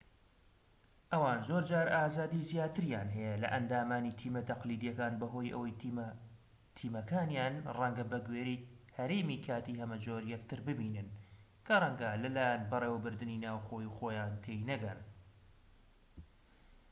ئەوان زۆرجار ئازادی زیاتریان هەیە لە ئەندامانی تیمە تەقلیدیەکان بەهۆی ئەوەی تیمەکانیان ڕەنگە بەگوێرەی هەرێمی کاتی هەمەجۆر یەکتر ببینن کە ڕەنگە لە لایەن بەڕێوەبردنی ناوخۆیی خۆیان تێی نەگەن